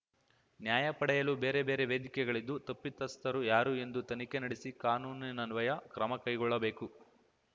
ನ್ಯಾಯ ಪಡೆಯಲು ಬೇರೆ ಬೇರೆ ವೇದಿಕೆಗಳಿದ್ದು ತಪ್ಪಿತಸ್ಥರು ಯಾರು ಎಂದು ತನಿಖೆ ನಡೆಸಿ ಕಾನೂನಿನ್ವಯ ಕ್ರಮ ಕೈಗೊಳ್ಳಬೇಕು